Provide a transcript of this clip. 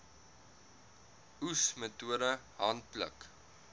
oes metode handpluk